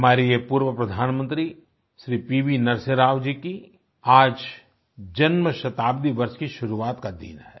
हमारे ये पूर्व प्रधानमंत्री श्री पी वी नरसिम्हा राव जी की आज जन्मशताब्दी वर्ष की शुरुआत का दिन है